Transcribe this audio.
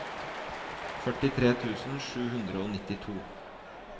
førtitre tusen sju hundre og nittito